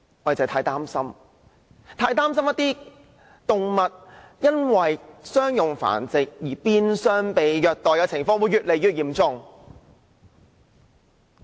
我們很擔心動物因商業繁殖而變相被虐待的情況會越來越嚴重。